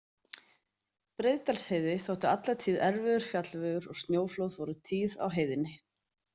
Breiðadalsheiði þótti alla tíð erfiður fjallvegur og snjóflóð voru tíð á heiðinni.